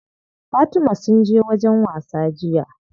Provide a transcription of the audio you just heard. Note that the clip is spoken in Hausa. Fatima sun je wajen wasa jiya.